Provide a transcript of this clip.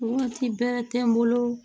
Waati bɛrɛ tɛ n bolo